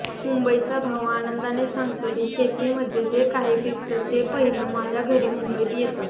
मुंबईचा भाऊ आनंदाने सांगतो की शेतीमध्ये जे काही पिकतं ते पहिलं माझ्या घरी मुंबईत येतं